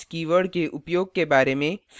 this keyword के उपयोग के बारे में